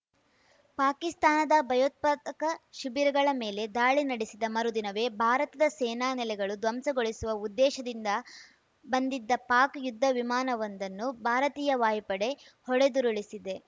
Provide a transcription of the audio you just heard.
ಪಾಕಿಸ್ತಾನದ ಭಯೋತ್ಪಾದಕ ಶಿಬಿರಗಳ ಮೇಲೆ ದಾಳಿ ನಡೆಸಿದ ಮರುದಿನವೇ ಭಾರತದ ಸೇನಾ ನೆಲೆಗಳು ಧ್ವಂಸಗೊಳಿಸುವ ಉದ್ದೇಶದಿಂದ ಬಂದಿದ್ದ ಪಾಕ್‌ ಯುದ್ಧ ವಿಮಾನವೊಂದನ್ನು ಭಾರತೀಯ ವಾಯುಪಡೆ ಹೊಡೆದುರುಳಿಸಿದೆ